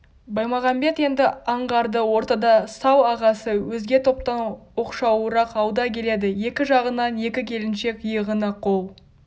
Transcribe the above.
баймағамбет енді аңғарды ортада сал-ағасы өзге топтан оқшауырақ алда келеді екі жағынан екі келіншек иығына қол